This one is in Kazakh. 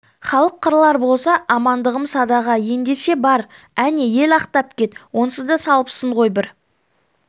халық қырылар болса амандығым садаға ендеше бар әне ел ақтап кет онсыз да салыпсың ғой бір